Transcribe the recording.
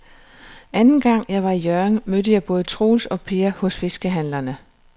Anden gang jeg var i Hjørring, mødte jeg både Troels og Per hos fiskehandlerne.